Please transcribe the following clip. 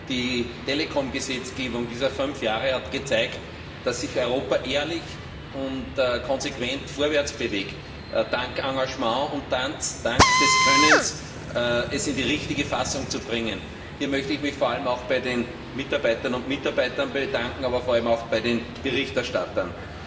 Die Telekom Gesetzgebung dieser fünf Jahre hat gezeigt, dass sich Europa ehrlich und konsequent vorwärtsbewegt dank des Engagements und dank des Könnens, diese in die richtige Fassung zu bringen. Hier möchte ich mich bei den Mitarbeiterinnen und Mitarbeitern bedanken, aber vor allem auch bei den Berichterstattern.